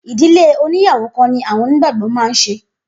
Idile oníyàwó kan ni awọn onígbàgbọ́ má n se